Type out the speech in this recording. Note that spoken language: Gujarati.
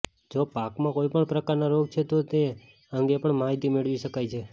જો પાકમાં કોઇ પણ પ્રકારના રોગ છે તો તે અંગે પણ માહિતી મેળવી શકાય છે